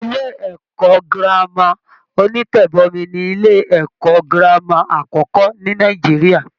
Ilé-ẹ̀kọ́ Gírámà onítẹ́bọmí ni ilé-ẹ̀kọ́ girama àkọ́kọ́ ní Nàìjíríà